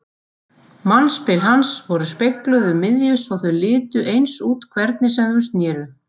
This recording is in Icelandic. Mannspil hans voru spegluð um miðju svo þau litu eins út hvernig sem þau sneru.